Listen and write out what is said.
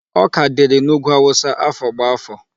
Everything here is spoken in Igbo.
Ọka dịrị n'ugwu Hausa afọ gbá afọ.